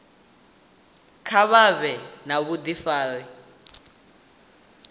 kha vha vhe na vhudifari